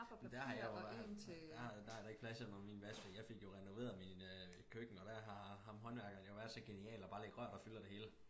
Men der har jeg jo der der da ikke plads under min vask fordi jeg fik jo renoveret min øh køkken og der har ham håndværkeren jo været så genial og bare lægge rør der fylder det hele